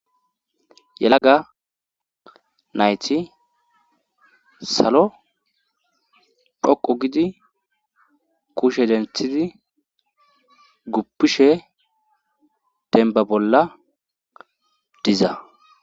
yelaga nayti salo dhoqo gidi kushe denthidi guppishe denba bolla diza